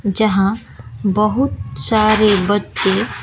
जहां बहुत सारे बच्चे--